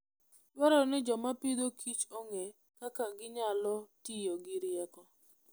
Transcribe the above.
Dwarore ni joma pidhokichong'e kaka ginyalo tiyo gi rieko.